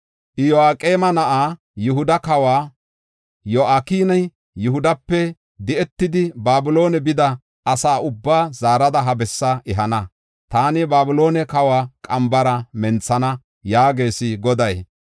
Iyo7aqeema na7aa, Yihuda kawa Yo7akina, Yihudape di7etidi Babiloone bida asa ubbaa zaarada ha bessaa ehana. Taani Babiloone kawa qambara menthana’ ” yaagees Goday.